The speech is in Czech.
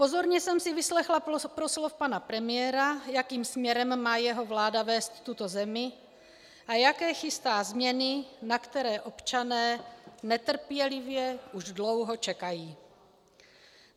Pozorně jsem si vyslechla proslov pana premiéra, jakým směrem má jeho vláda vést tuto zemi a jaké chystá změny, na které občané netrpělivě už dlouho čekají.